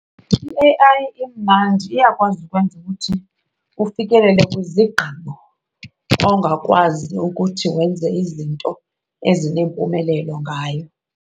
I-A_I imandi, iyakwazi ukwenza ukuthi ufikelele kwizigqibo ongakwazi ukuthi wenze izinto ezinempumelelo ngayo.